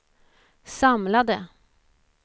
samlade